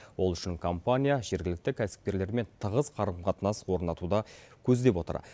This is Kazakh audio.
ол үшін компания жергілікті кәсіпкерлермен тығыз қарым қатынас орнатуды көздеп отыр